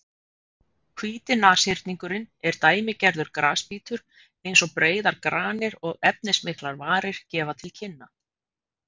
Hvíti nashyrningurinn er dæmigerður grasbítur eins og breiðar granir og efnismiklar varir gefa til kynna.